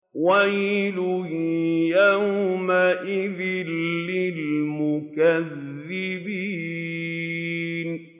وَيْلٌ يَوْمَئِذٍ لِّلْمُكَذِّبِينَ